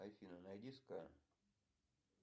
афина найди скар